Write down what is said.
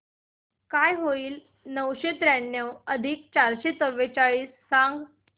काय होईल नऊशे त्र्याण्णव बेरीज चारशे चव्वेचाळीस सांग